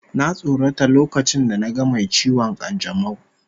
Na tsorata lokacin da naga mai ciwon kanjamau